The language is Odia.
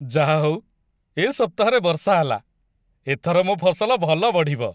ଯାହାହଉ, ଏ ସପ୍ତାହରେ ବର୍ଷା ହେଲା । ଏଥର ମୋ ଫସଲ ଭଲ ବଢ଼ିବ ।